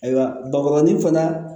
Ayiwa bakɔrɔni fana